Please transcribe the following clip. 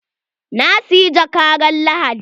Na siyi jakka ran Lahadi.